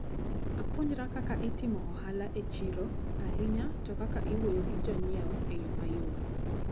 Apuonjra kaka itimo ohala e chiro, ahinya to kaka iwuoyo gi jonyiewo e yo mayom.